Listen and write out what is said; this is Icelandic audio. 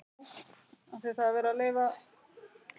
Elsku Guðný, vertu Guði falin.